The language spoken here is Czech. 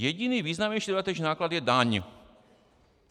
Jediný významnější dodatečný náklad je daň.